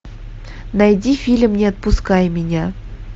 найди фильм не отпускай меня